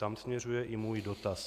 Tam směřuje i můj dotaz.